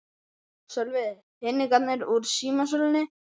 Sölvi: Peningarnir úr símasölunni?